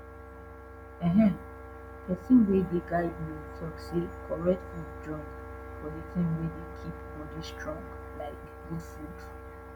ehen pesin wey dey guide me talk say correct food join for de thing wey dey keep bodi strong like good food